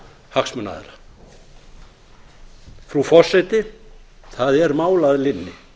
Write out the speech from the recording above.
hagsmunaaðila frú forseti það er mál að linni